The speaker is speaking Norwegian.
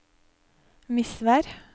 Misvær